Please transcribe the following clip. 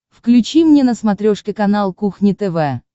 включи мне на смотрешке канал кухня тв